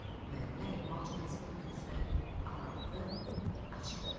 Müəllimə ehtimalca qəzet bükülüsünü araladı, açdı.